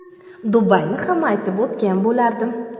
Dubayni ham aytib o‘tgan bo‘lardim.